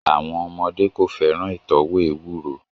Àwọn ọmọdé kò fẹ́ràn ìtọ́wò ewuro